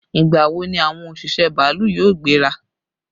Ìgbà wo ni àwọn òṣìṣẹ́ bàálù yóò gbéra?